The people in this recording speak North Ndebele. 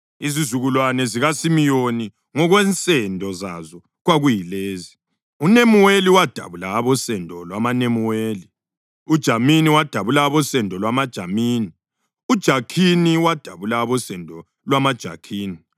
Izizukulwane zikaSimiyoni ngokwensendo zazo kwakuyilezi: uNemuweli wadabula abosendo lwamaNemuweli; uJamini wadabula abosendo lwamaJamini; uJakhini wadabula abosendo lwamaJakhini;